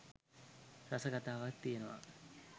රස කතාවක් තියෙනවා.